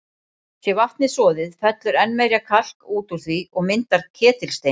Sé vatnið soðið, fellur enn meira kalk út úr því og myndar ketilstein.